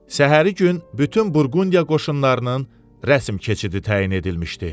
Səhəri gün bütün Burqundiya qoşunlarının rəsm keçidi təyin edilmişdi.